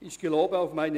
Verschiebung